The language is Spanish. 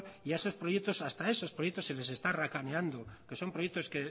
y a esos proyectos hasta a esos proyectos se les está racaneando que son proyectos